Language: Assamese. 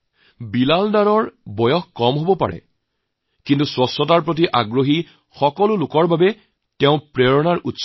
বিলাল ডাৰ বয়সত সৰু কিন্তু স্বচ্ছতাৰ প্ৰতি যিসকলৰ আগ্ৰহ আছে তেওঁলোকৰ বাবে প্ৰেৰণাদায়ক